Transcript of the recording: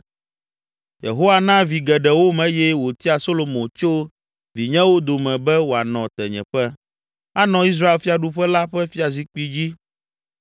Yehowa na vi geɖewom eye wòtia Solomo tso vinyewo dome be wòanɔ tenyeƒe, anɔ Israel fiaɖuƒe la ƒe fiazikpui dzi.